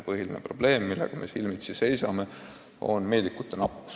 Põhiline probleem, millega me silmitsi seisame, on meedikute nappus.